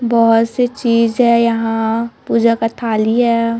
बोहोत से चीज है यहाँ पूजा का थाली हैं।